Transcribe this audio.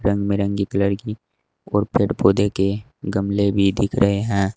रंग बिरंगी कलर की और पेड़ पौधे के गमले भी दिख रहे हैं।